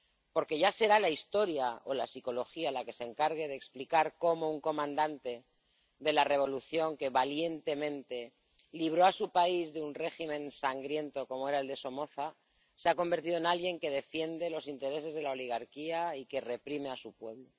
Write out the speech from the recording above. Porque ya será la historia o la psicología la que se encargue de explicar cómo un comandante de la revolución, que valientemente libró a su país de un régimen sangriento como era el de Somoza, se ha convertido en alguien que defiende los intereses de la oligarquía y que reprime a su pueblo.